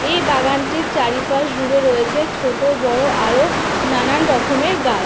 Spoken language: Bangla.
এই বাগানটির চারিপাশ জুড়ে রয়েছে ছোট বড়ো আরও নানান রকমের গাছ।